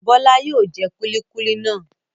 Bọ́lá yóò jẹ kúlíkúlí náà.